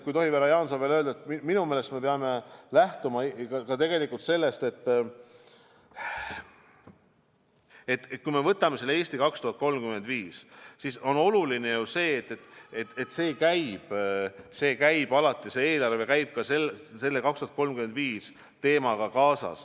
Kui tohib, härra Jaanson, veel midagi öelda, et siis üleüldiselt me peame minu meelest lähtuma sellest, et kui me võtame selle "Eesti 2035", siis on oluline see, et eelarve käib ka "Eestis 2035" teemaga kaasas.